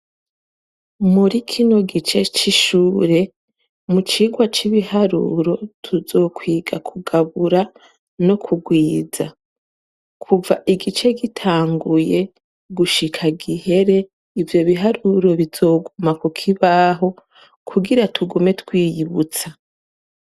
Muri kino gice c'ishure mu cigwa c'ibiharuro tuzokwiga kugabura no kugwiza, kuva igice gitanguye gushika gihere, ivyo biharuro bizoguma kukibaho kugira tugume twiyibutsa.